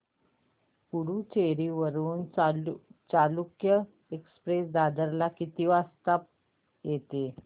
पुडूचेरी वरून चालुक्य एक्सप्रेस दादर ला किती वाजता येते